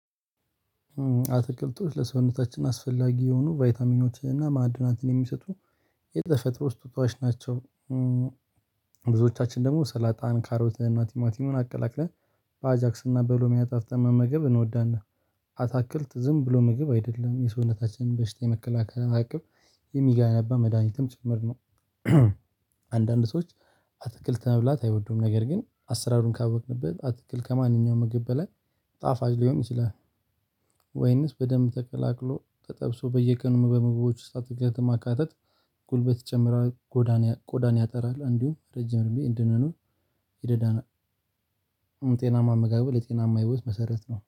አትክልቶች ለሰውነታችን አስፈላጊ የሆኑ ቫይታሚኖችን እና ማዕድናንትን የሚሰጡ የተፈጥሮ ስጦታዎች ናቸው። ብዙዎቻችን ደግሞ ሰላጣን ካሮትን እና ቲማቲምን አቀላቅለን በአጃክስና እና በሎሚያ አጣፍጠን መመገብ እንወዳና። አታክልት ዝም ብሎ መግብ አይደለም የሰውነታችንን በሽታ የመከላከል አቅም የሚጋነባ መድሃኒትም ጭምር ነው። አንዳንድ ሰዎች አትክልት መብላት አይወዱም ነገር ግን አሰራሩን ካወቅንበት አትክል ከማንኛውም ምግብ በላይ ጣፋጭ ሊሆን ይችላል። ወይንስ በደንብ ተቀላቅሎ ተጠብሶ በየቀኑ በምግቦች ውስጥ አትክልትን ማካተት። ጉልበት ይጨምራል። ቆዳን ያጠራል እንዲሁም ረጅም እድሜ እንድንኖር ይደዳናል። ጤናማ አመጋገብ የጤናማ ህይወት መሰረት ነው